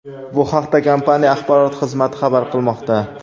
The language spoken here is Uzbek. Bu haqda kompaniya axborot xizmati xabar qilmoqda .